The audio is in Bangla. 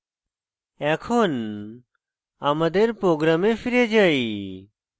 এখন আমাদের program ফিরে যাই